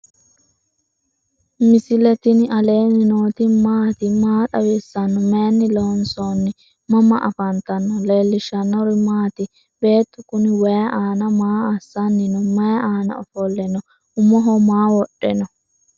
misile tini alenni nooti maati? maa xawissanno? Maayinni loonisoonni? mama affanttanno? leelishanori maati? bettu kuni wayi aana maa asanino? mayi aana offole no?umoho maa wodhe no?